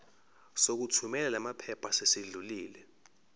sokuthumela lamaphepha sesidlulile